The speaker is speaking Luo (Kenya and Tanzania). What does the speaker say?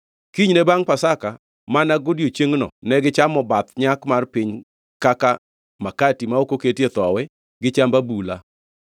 Kinyne bangʼ Pasaka, mana godiechiengno, negichamo bath nyak mar piny kaka, makati ma ok oketie thowi gi chamb abula.